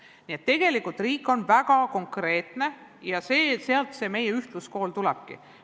Nii et tegelikult on riik väga konkreetne ja sealt see meie ühtluskool tulebki.